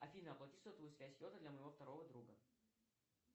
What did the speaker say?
афина оплати сотовую связь йота для моего второго друга